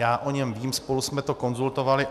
Já o něm vím, spolu jsme to konzultovali.